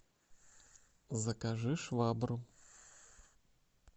закажи швабру